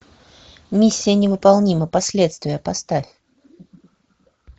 миссия невыполнима последствия поставь